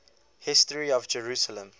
history of jerusalem